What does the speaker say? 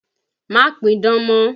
Má pidán mọ́!